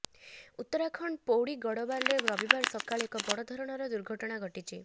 ଉତ୍ତରାଖଣ୍ଡ ପୌଡି ଗଡବାଲରେ ରବିବାର ସକାଳେ ଏକ ବଡ ଧରଣର ଦୁର୍ଘଟଣା ଘଟିଛି